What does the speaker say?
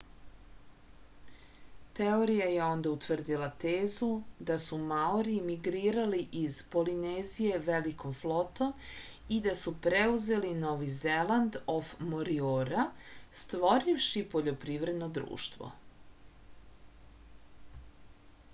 teorija je onda utvrdila tezu da su maori migrirali iz polinezije velikom flotom i da su preuzeli novi zeland of moriora stvorivši poljoprivredno društvo